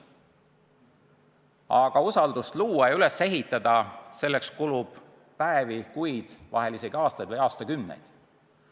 Aga et usaldust luua, üles ehitada, selleks kulub päevi, kuid, vahel isegi aastaid või aastakümneid.